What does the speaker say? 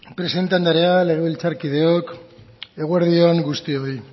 presidente andrea legebiltzarkideok eguerdi on guztioi